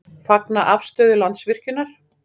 Fagna afstöðu Landsvirkjunar